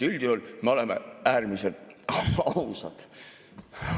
Üldjuhul me oleme äärmiselt ausad.